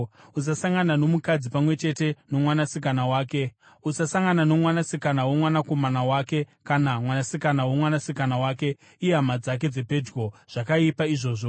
“ ‘Usasangana nomukadzi pamwe chete nomwanasikana wake. Usasangana nomwanasikana womwanakomana wake kana mwanasikana womwanasikana wake; ihama dzake dzepedyo. Zvakaipa izvozvo.